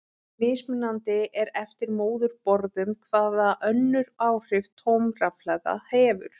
Mismunandi er eftir móðurborðum hvaða önnur áhrif tóm rafhlaða hefur.